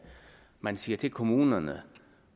man siger til kommunerne